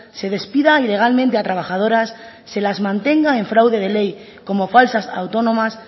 se despida ilegalmente a trabajadoras se las mantenga en fraude de ley como falsas autónomas